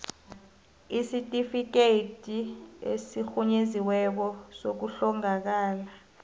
isitifikhethi esirhunyeziweko sokuhlongakala